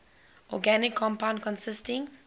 organic compound consisting